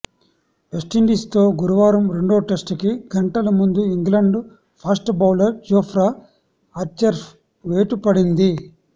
వెస్టిండీస్తో గురువారం రెండో టెస్టుకి గంటల ముందు ఇంగ్లాండ్ ఫాస్ట్ బౌలర్ జోప్రా ఆర్చర్పై వేటు పడింది